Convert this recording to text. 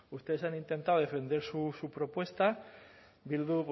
bueno y ustedes han intentado defender su propuesta bildu